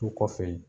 Du kɔfɛ yen